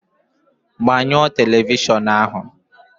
Gbanyụọ telivishọn ahụ!